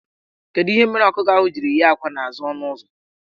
Kedu ihe mere ọkụkọ ahụ jiri yie akwa n' azụ ọnụụzọ?